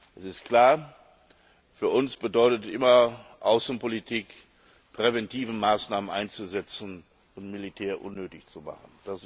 Es ist klar Für uns bedeutet Außenpolitik immer, präventive Maßnahmen einzusetzen, um Militär unnötig zu machen.